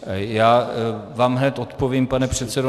Já vám hned odpovím, pane předsedo.